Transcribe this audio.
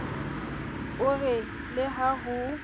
o re le ha ho